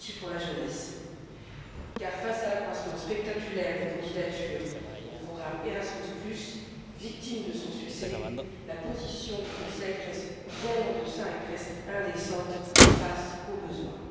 Viotti pour la jeunesse, car face à l'accroissement spectaculaire des candidatures dans le cadre du programme Erasmus, victime de son succès, la position du Conseil reste bien en deçà et est presque indécente face aux besoins.